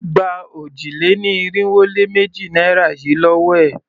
Gba òjì-lé-ní-irinwó-lé-méjì naira yìí lówó è!